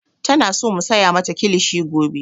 Tana so mu saya mata kilishi gobe